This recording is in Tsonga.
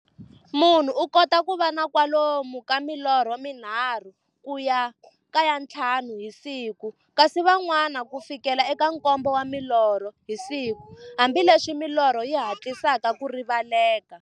Munhu u kota ku va na kwalomu ka milorho mi nharhu ku ya ka ya nthlanu hi siku, kasi van'wana ku fikela eka nkombo wa milorho hi siku-hambileswi milorho yi hatlisaka ku rivaleka.